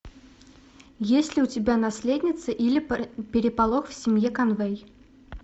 есть ли у тебя наследница или переполох в семье конвэй